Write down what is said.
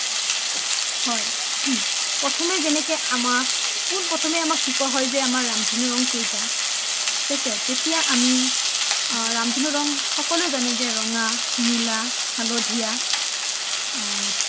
প্ৰথমে যেনেকে আমাক কোনপ্ৰথমে আমাক শিকিৱা হয় যে আমাৰ ৰামধেনু ৰ ৰং কেইটা থিক আছে তেতিয়া আমি ৰামধেনু ৰ ৰং সকলোৱে জানে যে ৰঙা নীলা হালধীয়া অ